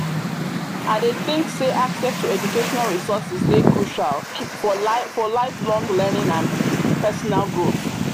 i dey think say access to educational resources dey crucial for lifelong learning and pesinal growth.